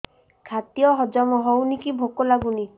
ଖାଦ୍ୟ ହଜମ ହଉନି କି ଭୋକ ଲାଗୁନି